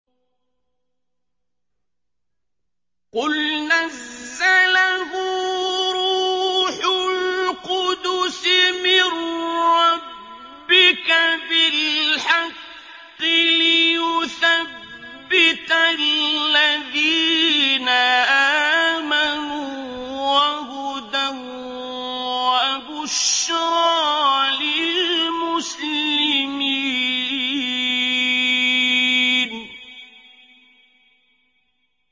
قُلْ نَزَّلَهُ رُوحُ الْقُدُسِ مِن رَّبِّكَ بِالْحَقِّ لِيُثَبِّتَ الَّذِينَ آمَنُوا وَهُدًى وَبُشْرَىٰ لِلْمُسْلِمِينَ